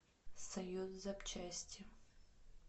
союз запчасти